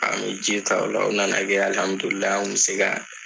An bɛ ji ta o la o na na kɛ an bɛ se ka